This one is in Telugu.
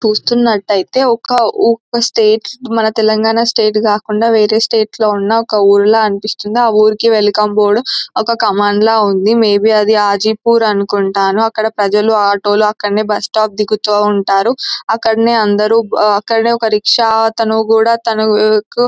చూస్తున్నట్టయితేఒక ఉ-స్టేట్ మన తెలంగాణా స్టేట్ కాకుండా వేరే స్టేట్ లో ఉన్న ఒక ఊరిలా అనిపిస్తుంది.ఆ ఊరిలో వెల్కమ్ బోర్డు ఒక కమాండ్ లా ఉంది.మే బి అది అజీపూర్ అనుకుంటాను. అక్కడి ప్రజలు ఆటో లుఅక్కడనే బస్సు స్టాప్ దిగుతావుంటారు. అక్కడనే అందరూ ఆ అక్కడే ఒక రిక్షా అతను కూడా తనకు--